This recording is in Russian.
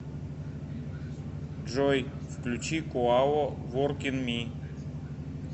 джой включи куао воркин ми